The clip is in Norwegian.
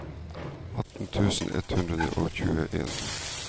atten tusen ett hundre og tjueen